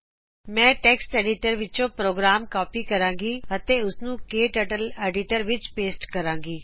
ਮੈਂ text editor ਵਿੱਚੋ program copy ਕਰੂੰਗੀ ਤੇ ਉਸਨੂੰ ਕਟਰਟਲ ਐਡੀਟਰ ਵਿੱਚ ਪੋਸਟ ਕਰੂੰਗੀ